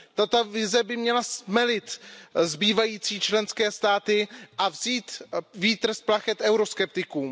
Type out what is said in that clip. Tato vize by měla stmelit zbývající členské státy a vzít vítr z plachet euroskeptikům.